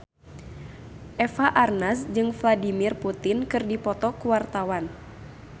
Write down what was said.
Eva Arnaz jeung Vladimir Putin keur dipoto ku wartawan